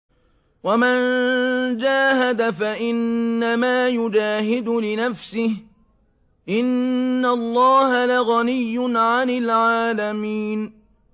وَمَن جَاهَدَ فَإِنَّمَا يُجَاهِدُ لِنَفْسِهِ ۚ إِنَّ اللَّهَ لَغَنِيٌّ عَنِ الْعَالَمِينَ